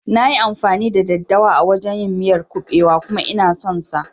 Nayi amfani da daddawa a wajan yin miyar kuɓewa kuma Ina son sa